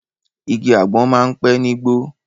Igi àgbọ̀n máa ń pẹ̀ nígbó